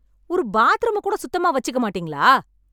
ஒரு பாத்ரூம கூட சுத்தமா வச்சிக்க மாட்டீங்களா